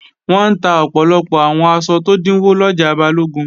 Wọ́n ń ta ọ̀pọ̀lọpọ̀ àwọn aṣọ tó dínwó lọjà Balógun